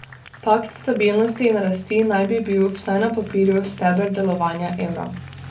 Pakt stabilnosti in rasti naj bi bil, vsaj na papirju, steber delovanja evra.